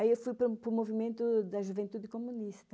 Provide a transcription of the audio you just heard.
Aí eu fui para o movimento da juventude comunista.